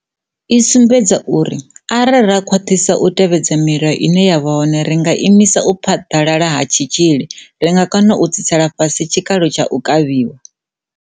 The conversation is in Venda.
I sumbedza uri arali ra khwaṱhisa u tevhedza milayo ine ya vha hone ri nga imisa u phaḓalala ha tshitzhili, ri nga kona u tsitsela fhasi tshikalo tsha u kavhiwa.